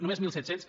només mil set cents